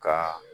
Ka